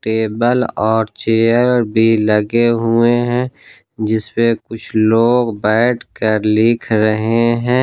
Table और chair भी लगे हुए हैं जिस पे कुछ लोग बैठकर लिख रहे हैं।